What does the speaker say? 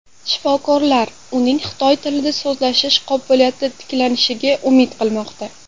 Shifokorlar uning xitoy tilida so‘zlashish qobiliyati tiklanishiga umid qilmoqda.